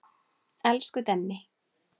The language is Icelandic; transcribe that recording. Elsku Denni.